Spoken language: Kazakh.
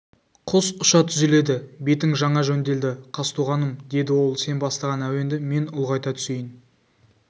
құс ұша түзеледі бетің жаңа жөнделді қазтуғаным деді ол сен бастаған әуенді мен ұлғайта түсейін